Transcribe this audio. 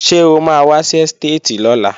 Ṣé o máa wá sí ẹ́stéètì lọ́la?